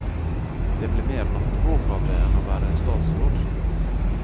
Det ble mer nattevåk av det enn av å være statsråd.